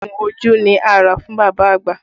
Ogun ojú ni a rà fún bàbá àgbà